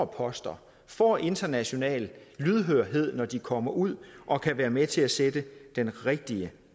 poster får international lydhørhed når de kommer ud og kan være med til at sætte den rigtige